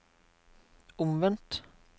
omvendt